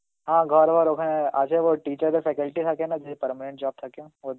হা ঘর বার ওখানে আছে ও teacher রা faculty থাকে না যদি permanent job থাকে ওদের